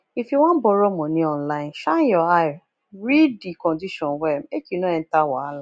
if you wan borrow money online shine your eye read di condition well make you no enter wahala